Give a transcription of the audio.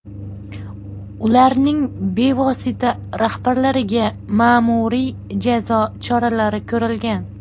Ularning bevosita rahbarlariga ma’muriy jazo choralari ko‘rilgan.